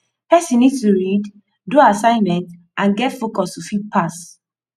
person need to read do assignment and get focus to fit pass